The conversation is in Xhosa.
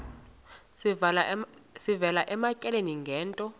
sivela ematyaleni ngento